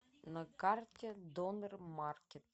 на карте донер маркет